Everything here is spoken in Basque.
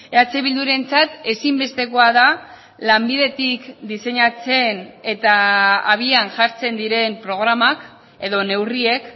eh bildurentzat ezinbestekoa da lanbidetik diseinatzen eta habian jartzen diren programak edo neurriek